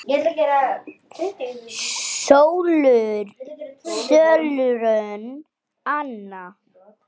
Sólrún Anna.